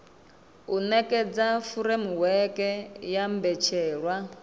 u nekedza furemiweke ya mbetshelwa